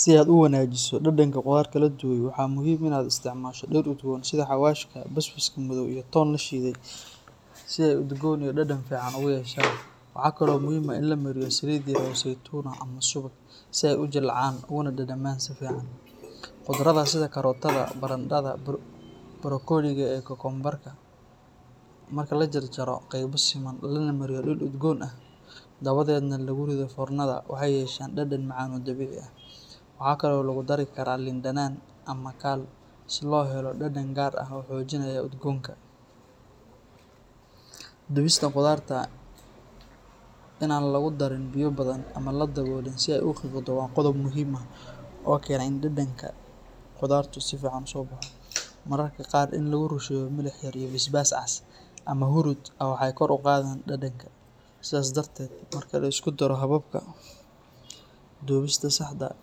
Si aad u wanagiso dadanka qudharta wladuwe waxaa muhiim ah kala duwan sitha xawashi iyo ton lashidhe sithe udgon iyo dadan fican u yeshan waxaa kalo muhiim ah in lamariyo saliid seitun ah ama suwag si ee u jilcan ama ee u dadaman qudradha sitha karotadha baradatha barkoliga ah, marki la jar jaro qeba lana mariyo dul udgon ah dawaded nah lagu ritho fornadhaa waxee yeshan dadan fican oo dawici leh, waxaa kalo ladu dari karaa lin danan si lo helo dadan gar ah wuxuu xojinaya udgonka, dunista qudharta aa lagu darin biyo badan ama aa ladawolin waa qodob muhiim ah oo kena dadanka qufhaartu mararka qaar hurud waxaa kor u qadheysa dadanka sithas daradeed marka liskudaro hababka dubista saxda ah